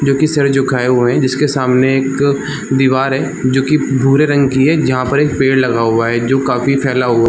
जो सर झुकाए हुए है जिसके सामने एक दीवार है जो कि बुरे रंग की है जहां पर एक पेड़ लगा हुआ है जो काफी फैला हुआ --